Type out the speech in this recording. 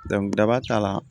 daba t'a la